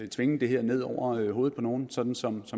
tvinge det her ned over hovedet på nogen som som